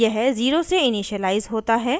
यह 0 से इनिशिअलाइज़ होता है